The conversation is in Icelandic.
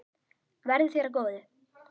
Verði þér að góðu.